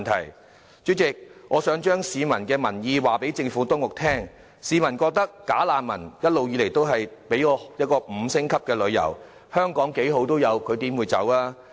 代理主席，我想將市民的意願告訴政府當局，市民覺得"假難民"一直以來都在香港享受 "5 星級旅遊"："香港幾好都有，他們怎捨得走"？